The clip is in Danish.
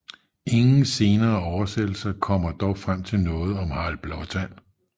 Ingen senere oversættelser kommer dog frem til noget om Harald Blåtand